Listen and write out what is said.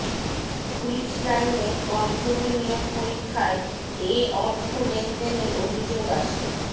police লাইনে constable নিয়োগ পরীক্ষায় এ অর্থ লেনদেনের অভিযোগ আসে